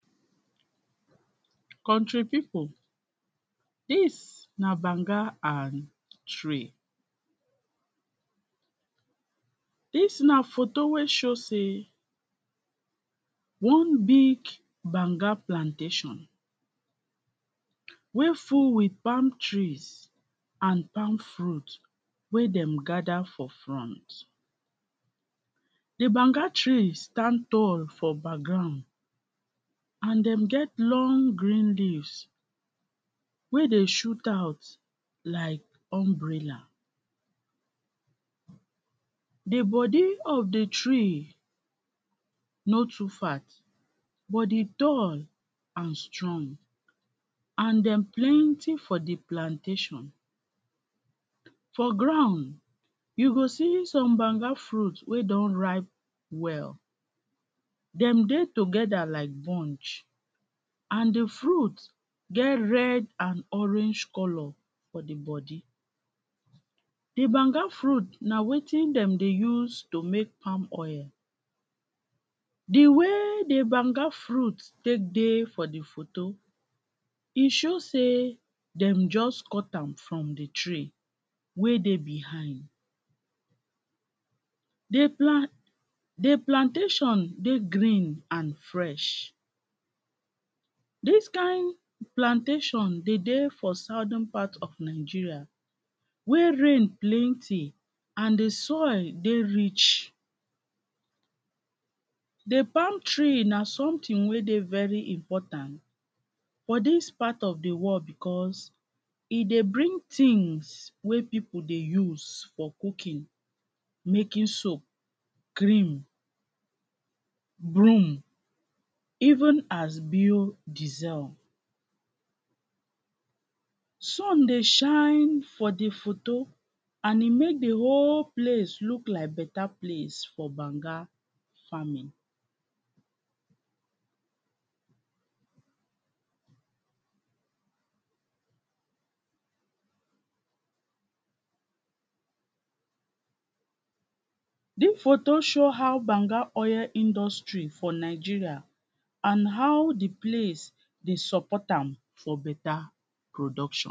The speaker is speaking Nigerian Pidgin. country pipo dis na banga and tree dis na photo wey show sey one big banga plantation wey full with palm trees and palm fruit wey dem gather for front the banga trees stand tall for background an dem get long green leaves wey dey shoot out like umbrella the body of the tree no too fat but he tall and strong an dem plenty for the plantation for ground you go see some banga fruit wey don ripe well dem dey together like bunch and the fruit get red and orange colour for the body the banga fruit na wetin dem dey use to make palm oil the way the banga fruit take dey for the photo he show sey dem just cut am from the tree wey dey behind the pla the plantation dey green and fresh dis kind plantation dey de for southern part of nigeria where rain plenty and the soil dey rich the palm tree na someting wey dey very important for dis part of the world because he dey bring tings wey pipo dey use for cooking, making soap, cream, broom, even hasbio diesel sun dey shine for the photo and he mek the whole place look like better place for banga farming dis photo show how banga oil industry for nigeria and how the place dey support am for better production